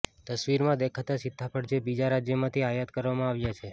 તસ્વીરમાં દેખાતા સીતાફળ જે બીજા રાજયમાંથી આયાત કરવામાં આવ્યા છે